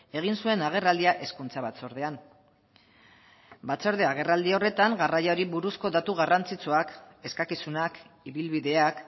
egin zuen agerraldia hezkuntza batzordean batzorde agerraldi horretan garraioari buruzko datu garrantzitsuak eskakizunak ibilbideak